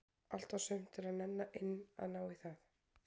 Allt og sumt er að nenna inn að ná í það.